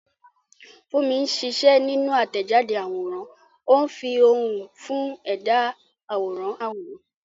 Funmi ń ṣiṣẹ́ nínú àtẹ̀jáde àwòrán, ó ń fi ohùn fún ẹ̀dá àwòrán àwòrán.